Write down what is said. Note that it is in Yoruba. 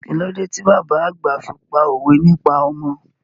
Kílódé ti bàbá àgbà fi pá òwe nípa ọmọ?